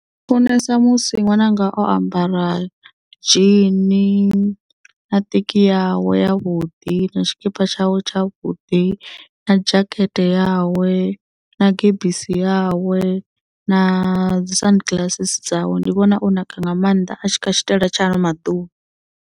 Funesa musi ṅwananga o ambara dzhini na teki yawe yavhuḓi na tshikipa tshawe tsha vhuḓi na dzhakete yawe na gebisi yawe na dzi sun glasses dzawe ndi vhona o naka nga maanḓa a tshi kha tshitaela tsha ano maḓuvha.